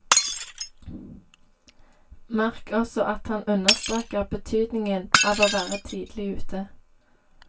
Merk også at han understreker betydningen av å være tidlig ute.